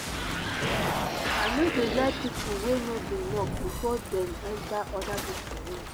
i no dey like pipo wey no dey knock before dem enta oda pipo room.